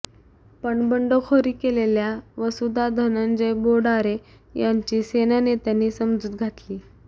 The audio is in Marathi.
पण बंडखोरी केलेल्या वसुधा धनंजय बोडारे यांची सेना नेत्यांनी समजूत घातली